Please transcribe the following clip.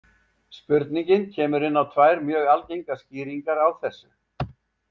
Spurningin kemur inn á tvær mjög algengar skýringar á þessu.